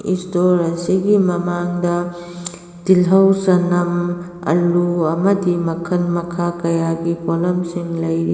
ꯏꯁꯁ꯭ꯇꯣꯔ ꯑꯁꯤꯒꯤ ꯃꯃꯥꯡꯗ ꯇꯤꯜꯍꯧ ꯆꯅꯝ ꯑꯂꯨ ꯑꯃꯗꯤ ꯃꯈꯟ ꯃꯈꯥ ꯀꯌꯥꯒꯤ ꯄꯣꯠꯂꯝ ꯁꯤꯡ ꯂꯩꯔꯤ꯫